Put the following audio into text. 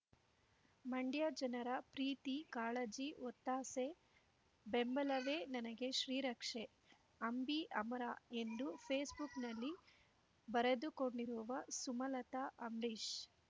ಮಂಡ್ಯ ಜನರ ಪ್ರೀತಿ ಕಾಳಜಿ ಒತ್ತಾಸೆ ಬೆಂಬಲವೇ ನನಗೆ ಶ್ರೀರಕ್ಷೆ ಅಂಬಿ ಅಮರ ಎಂದು ಫೇಸ್ ಬುಕ್‌ನಲ್ಲಿ ಬರೆದುಕೊಂಡಿರುವ ಸುಮಲತ ಅಂಬ್ರೀಷ್